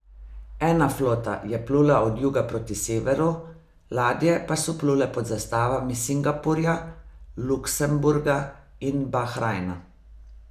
Ena flota je plula od juga proti severu, ladje pa so plule pod zastavami Singapurja, Luksemburga in Bahrajna.